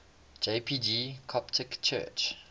jpg coptic church